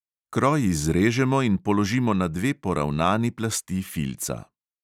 Kroj izrežemo in položimo na dve poravnani plasti filca.